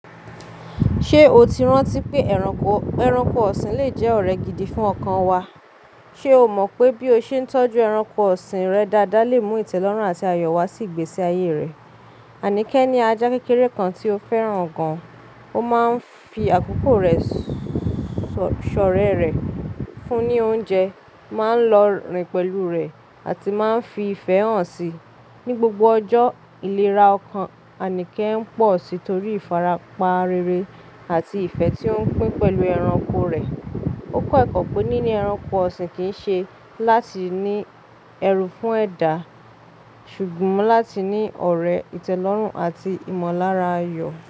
Ṣé o ti rántí pé eranko ẹranko ọ̀sìn le jẹ́ ọ̀rẹ́ gidi fún ọkàn wa? Ṣé o mọ̀ pé bí o ṣe ń tọ́jú ẹranko ọ̀sìn rẹ dáadáa le mú ìtẹ́lọ́rùn àti ayọ̀ wá sí ìgbésí ayé rẹ? Aníkẹ́ ní ajá kékeré kan tí ó fẹ́ràn gan. Ó máa ń fi àkókò rẹ̀, ṣọ̀rẹ́ rẹ̀ fún ní oúnjẹ, máa ń lọ rìn pẹ̀lú rẹ̀ àti máa ń fi ìfẹ́ hàn si. Ni gbogbo ọjọ́, ìlera ọkàn Aníkẹ́ ń pọ̀ si tori ìfarapa rere àti ìfẹ́ tí ó ń pín pẹ̀lú ẹranko rẹ̀. Ó kọ́ ẹ̀kọ́ pé níní ẹranko ọ̀sìn kì í ṣe láti ní ẹrù fún ẹ̀dá ṣùgbọ́n láti ní ọ̀rẹ́, ìtẹ́lọ́rùn àti ìmọ̀lára ayọ̀.